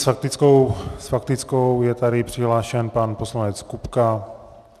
S faktickou je tady přihlášen pan poslanec Kupka.